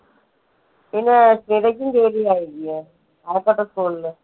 Kazhakkoottam school ല്.